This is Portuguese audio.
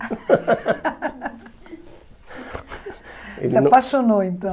se apaixonou, então.